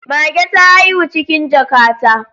Mage ta haihu cikin jaka ta